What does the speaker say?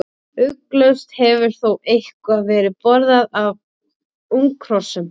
Ugglaust hefur þó eitthvað verið borðað af unghrossum.